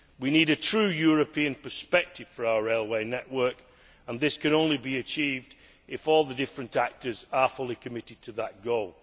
We need a true European perspective for our railway network and this can only be achieved if all the different actors are fully committed to that goal.